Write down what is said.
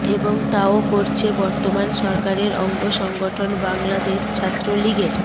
এবং তাও করছে বর্তমান সরকারের অঙ্গ সংগঠন বাংলাদেশ ছাত্রলীগের